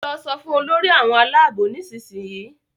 lọ so fún Olórí àwọn Àlàabò nísìsiyìí!